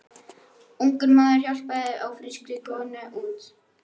Ungur maður hjálpaði ófrískri konu út.